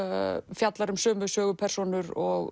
fjallar um sömu sögupersónur og